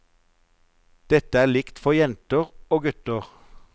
Dette er likt for jenter og gutter.